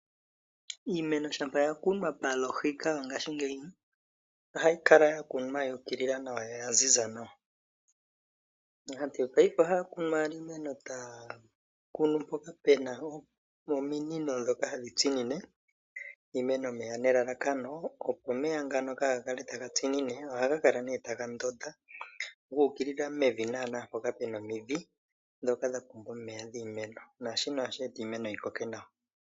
Iimeno shampa ya kunwa palohika ngashingeyi, ohayi kala ya kunwa ya ukilila nawa no ya ziza nawa. Aantu yo oaife ohaya kunu owala iimeno taya kunu mpoka pena ominino dhoka hadhi tsinine iimeno omeya, nelalakano opo omeya ngano kaga kale taga tsinine ohaga kala nee taga ndonda gu ukilila mevi nana mpoka pena omidhi, dhoka dha pumbwa omeya dhiimeno. Naashino ohashi eta iimeno yi koke nawa.